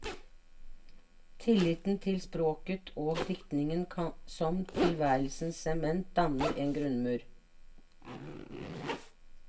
Tilliten til språket og diktningen som tilværelsens sement, danner en grunnmur.